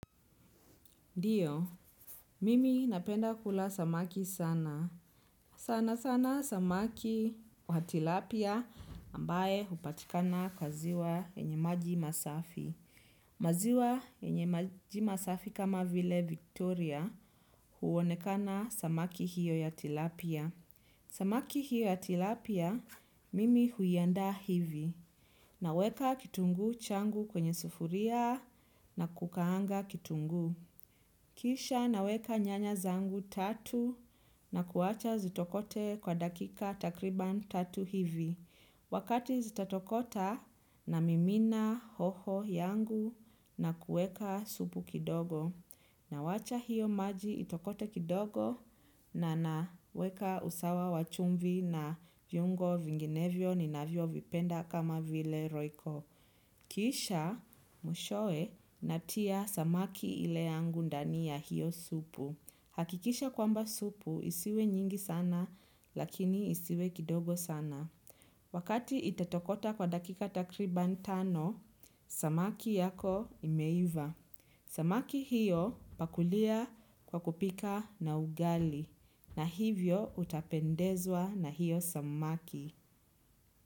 Ndiyo, mimi napenda kula samaki sana. Sana sana samaki wa tilapia ambaye hupatikana kwa ziwa yenye maji masafi. Maziwa yenye maji masafi kama vile Victoria huonekana samaki hiyo ya tilapia. Samaki hiyo ya tilapia, mimi huiandaa hivi. Naweka kitungu changu kwenye sufuria na kukaanga kitungu. Kisha naweka nyanya zangu tatu na kuwacha zitokote kwa dakika takriban tatu hivi. Wakati zitatokota na mimina hoho yangu na kuweka supu kidogo. Na wacha hiyo maji itokote kidogo na naweka usawa wa chumvi na viungo vinginevyo ninavyo vipenda kama vile roiko. Kisha mwishowe natia samaki ile yangu ndani ya hiyo supu. Hakikisha kwamba supu isiwe nyingi sana lakini isiwe kidogo sana. Wakati itatokota kwa dakika takriban tano, samaki yako imeiva. Samaki hiyo pakulia kwa kupika na ugali na hivyo utapendezwa na hiyo samaki.